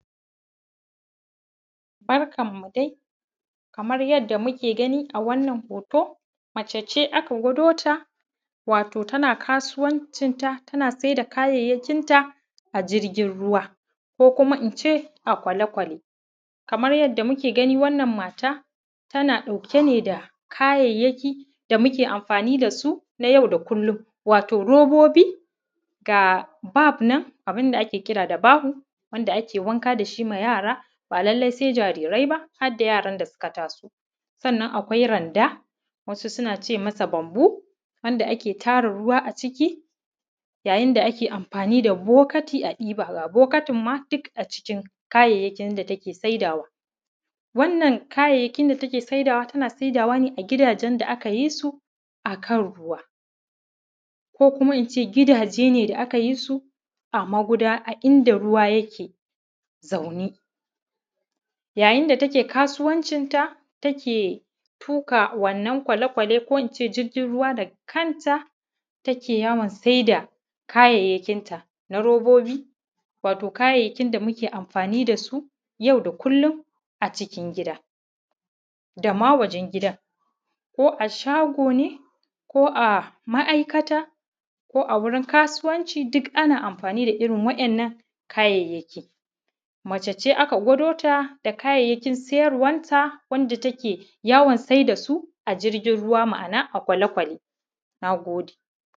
Barkan mu dai, kamar yadda muke gani a wannan hoto, mace ce aka gwado ta, wato tana kasuwancin ta, tana saida kayaayyakin ta, a jirgin ruwa, ko kuma ince a kwalekwale. Kamar yadda muke gani wannan mata tana ɗauke ne dakayayyaki da muke amfani dasu nay au da kullum, wato robobi, ga bab nan wato abun da ake kira da bahu, wanda ake wanka dashi ma yara, ba lallai sai jarirai ba har da yaran da suka taso, sannan akwai randa, wasu sun ace masa bamboo wanda ake tara ruwa aciki, yayin da ake amfani da bokati a ɗiba, ga bokatin ma duk a cikin kayayyakin da take saidawa. Wannan kayayyakin da take saidawa tana saidawa ne a gidajen da akayi su akan ruwa ko kuma ince gidaje ne da aka yi su a magudanar a inda ruwa yake zauna. yayin da take kasuwancin ta, take tuƙa wannan kwalekwale ko ince jirgin ruwa, da kanta take yawan saida kayayyakin ta na robobi, wato kayayyakin da muke amfani da su yau da kullum acikin gida, dama wajen gidan ko a shago ne ko a ma’aikata ko a wurin kasuwanci, duk ana amfani da irin waɗannan kayayyaki. Mace ce aka gwado ta da kayayyakin siyarwan ta wanda take yawan saida su, a jirgin ruwa ma’ana a kwalekwale na gode.